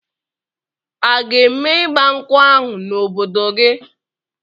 A ga-eme ịgba nkwụ ahụ n'obodo gị?